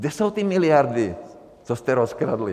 Kde jsou ty miliardy, co jste rozkradli?